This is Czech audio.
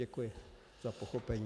Děkuji za pochopení.